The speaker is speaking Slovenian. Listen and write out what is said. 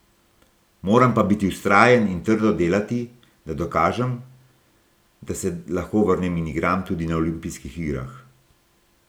Moram pa biti vztrajen in trdo delati, da dokažem, da se lahko vrnem in igram tudi na olimpijskih igrah.